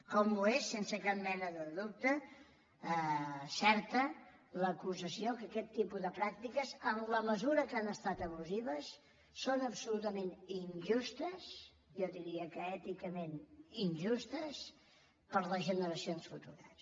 com ho és sense cap mena de dubte certa l’acusació que aquest tipus de pràctiques en la mesura que han estat abusives són absolutament injustes jo diria que èticament injustes per a les generacions futures